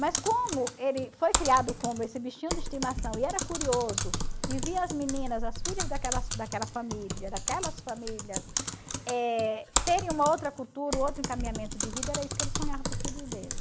Mas como ele foi criado como esse bichinho de estimação e era curioso, e via as meninas, as filhas daquelas daquela família, daquelas famílias, terem uma outra cultura, outro encaminhamento de vida, era isso que ele sonhava para os filhos dele.